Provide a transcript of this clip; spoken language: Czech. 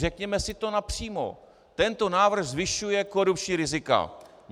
Řekněme si to napřímo: tento návrh zvyšuje korupční rizika.